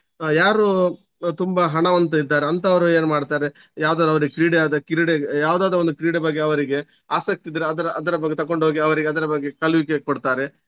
ಅಹ್ ಯಾರು ತುಂಬಾ ಹಣವಂತ ಇದ್ದಾರೆ ಅಂತವರು ಏನು ಮಾಡ್ತಾರೆ ಯಾವುದಾದ್ರೂ ಅವರಿಗೆ ಕ್ರೀಡೆ ಆದ್ರೆ ಕ್ರೀಡೆ ಯಾವುದಾದ್ರೂ ಒಂದು ಕ್ರೀಡೆ ಬಗ್ಗೆ ಅವರಿಗೆ ಆಸಕ್ತಿ ಇದ್ರೆ ಅದ್ರ ಅದ್ರ ಬಗ್ಗೆ ತಕೊಂಡುಹೋಗಿ ಅವರಿಗೆ ಅದರ ಬಗ್ಗೆ ಕಲಿವಿಕೆ ಕೊಡ್ತಾರೆ.